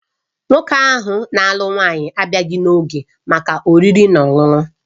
Nwoke na-alụ nwanyị ọhụrụ abịaghị n'oge maka oriri na ọṅụṅụ